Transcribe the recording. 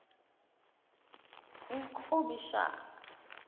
ikhomishana